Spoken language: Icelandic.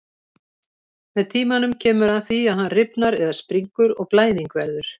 Með tímanum kemur að því að hann rifnar eða springur og blæðing verður.